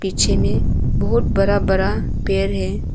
पीछे में बहोत बरा बरा पेर है।